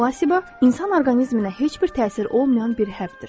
Plasiba insan orqanizminə heç bir təsir olmayan bir həbdir.